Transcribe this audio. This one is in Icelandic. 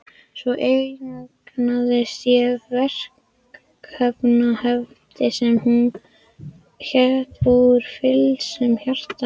Svo eignaðist ég verkefnahefti sem hét Úr fylgsnum hjartans.